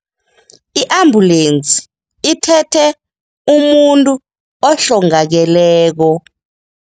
I-ambulensi ithethe umuntu ohlongakeleko.